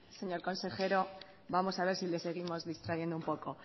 señor consejero vamos a ver si le seguimos distrayendo un poco